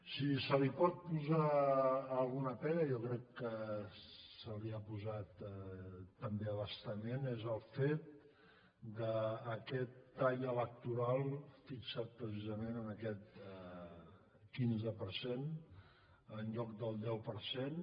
si se li pot posar alguna pega jo crec que se n’hi ha posat també a bastament és el fet d’aquest tall elec·toral fixat precisament en aquest quinze per cent en lloc del deu per cent